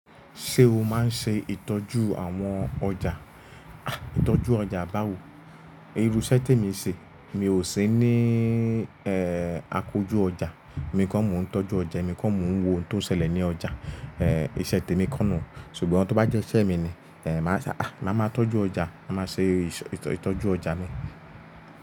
Ṣé o máa ń ṣe ìtọ́jú àwọn ọjà? Àh! Ìtọ́jú ọjà báwo? Irú iṣẹ́ tí mo ń ṣe mi ò sí ní, ẹ́, àkójù ọjà. Emí kọ́ mo ń tọ́jú ọjà, èmi kọ́ mo ń wo ohun tó ṣẹlẹ̀ ní ọjà. Ẹ̀, iṣẹ́ tèmi kọ́ nù. Ṣùgbọ́n tí ó bá jẹ́ iṣẹ́ mi ni, ẹ́, màá ṣa, àh! Màá máa tọ́jú ọjà, màá ṣe ìtọ́jú ọjà mi.